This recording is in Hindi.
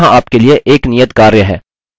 यहाँ आप के लिए एक नियतकार्य है